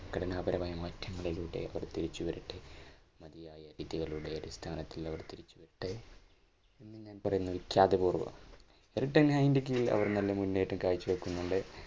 ഘടനാപരമായ മാറ്റങ്ങളിലൂടെ അവർ തിരിച്ചു വരട്ടെ മതിയായ വിദ്യകളുടെ അടിസ്ഥാനത്തിൽ അവർ തിരിച്ചു വരട്ടെ എന്ന് ഞാൻ പറയുന്നു വിഖ്യാതപൂർവം റെടെൻ ഹൈൻ കീഴിൽ അവർ നല്ല മുന്നേറ്റം കാഴ്ച വയ്ക്കുന്നുണ്ട്.